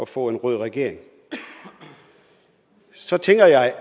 få en rød regering så tænker jeg